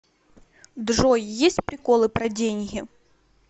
джой есть приколы про деньги